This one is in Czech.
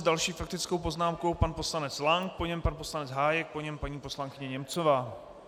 S další faktickou poznámkou pan poslanec Lank, po něm pan poslanec Hájek, po něm paní poslankyně Němcová.